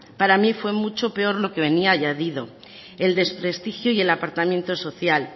para mí fue mucho peor lo que venía añadid el desprestigio y el apartamiento social